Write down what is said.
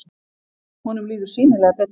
Honum líður sýnilega betur.